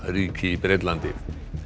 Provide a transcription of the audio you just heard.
ríki í Bretlandi